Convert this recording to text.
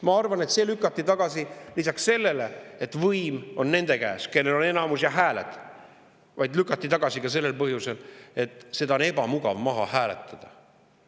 Ma arvan, et see lükati tagasi lisaks sellele, et võim on nende käes, kellel on häälteenamus, ka sellel põhjusel, et seda on ebamugav maha hääletada.